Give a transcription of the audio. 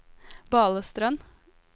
Balestrand